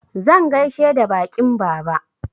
Zan gaishe da baƙin baba.